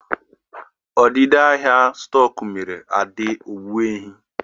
Ọdịda ahịa stoku mere Ade ógbènye